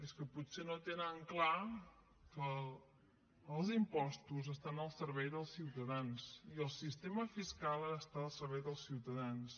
és que potser no tenen clar que els impostos estan al servei dels ciutadans i el sistema fiscal ha d’estar al servei dels ciutadans